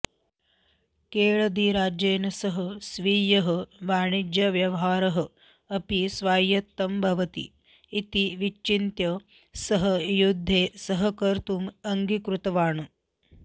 केळदिराज्येन सह स्वीयः वाणिज्यव्यवहारः अपि स्वायत्तं भवति इति विचिन्त्य सः युद्धे सहकर्तुम् अङ्गीकृतवान्